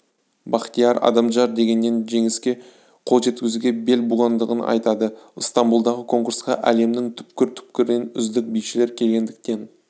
бақтияр адамжан дегеннен жеңіске қол жеткізуге бел буғандығын айтады ыстамбұлдағы конкурсқа әлемнің түкпір-түкпірінен үздік бишілер келгендіктен